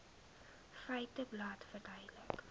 feiteblad verduidelik